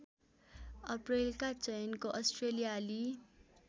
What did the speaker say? अप्रैलका चयनको अस्ट्रेलियाली